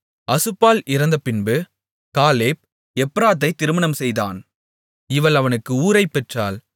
அசுபாள் இறந்த பின்பு காலேப் எப்ராத்தைத் திருமணம் செய்தான் இவள் அவனுக்கு ஊரைப் பெற்றாள்